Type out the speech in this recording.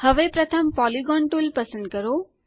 હવે પ્રથમ polygon tool પસંદ કરો